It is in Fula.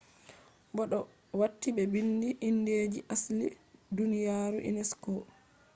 be do wati be biindi indeji je asli duniyaru unesco